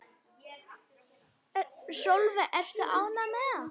Sólveig: Ertu ánægður með það?